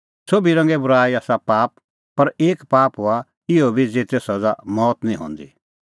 सोभी रंगे बूराई आसा पाप पर एक पाप हआ इहअ बी ज़ेते सज़ा मौत निं हंदी